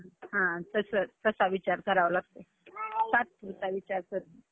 पण, इथं महालक्ष्मीच्या मंदिरात एवढी गर्दी होतीं त्यामुळं का, मग तिथं दीड तासात सगळं फिरवलं.